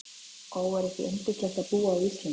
Ó, er ekki yndislegt að búa á Íslandi?